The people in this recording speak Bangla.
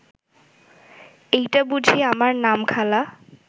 এইটা বুঝি আমার নাম খালা